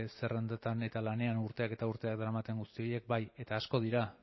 zerrendetan eta lanean urteak eta urteak daramaten guzti horiek bai eta asko dira